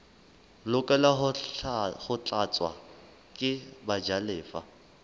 lokela ho tlatswa ke bajalefa